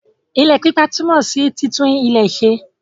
Ile pípa túmò sí títún ilẹ̀ ṣe.